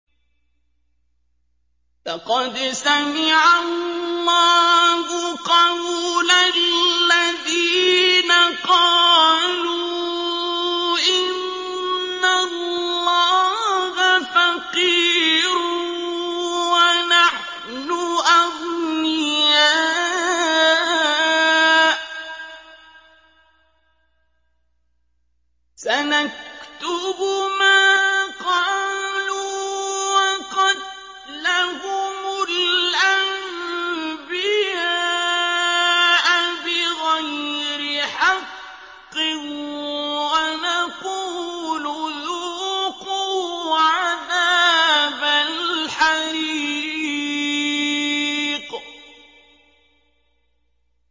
لَّقَدْ سَمِعَ اللَّهُ قَوْلَ الَّذِينَ قَالُوا إِنَّ اللَّهَ فَقِيرٌ وَنَحْنُ أَغْنِيَاءُ ۘ سَنَكْتُبُ مَا قَالُوا وَقَتْلَهُمُ الْأَنبِيَاءَ بِغَيْرِ حَقٍّ وَنَقُولُ ذُوقُوا عَذَابَ الْحَرِيقِ